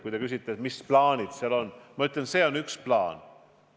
Kui te küsite, mis plaanid meil on, siis ma ütlen, et see ongi üks plaan.